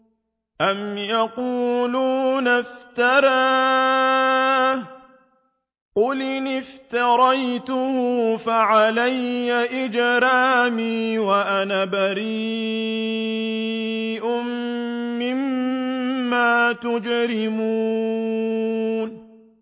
أَمْ يَقُولُونَ افْتَرَاهُ ۖ قُلْ إِنِ افْتَرَيْتُهُ فَعَلَيَّ إِجْرَامِي وَأَنَا بَرِيءٌ مِّمَّا تُجْرِمُونَ